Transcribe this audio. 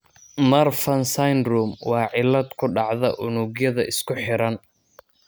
Marfan syndrome waa cillad ku dhacda unugyada isku xiran.